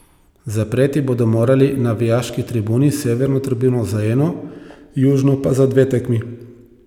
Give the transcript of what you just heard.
Zapreti bodo morali navijaški tribuni, severno tribuno za eno, južno pa za dve tekmi.